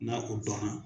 N'a o dɔnna